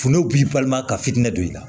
Funu b'i balima ka fitinɛ don i la